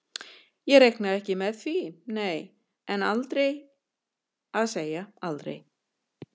Ég reikna ekki með því nei, en aldrei að segja aldrei.